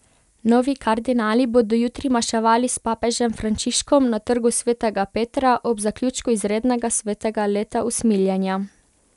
Novi kardinali bodo jutri maševali s papežem Frančiškom na Trgu svetega Petra ob zaključku izrednega svetega leta usmiljenja.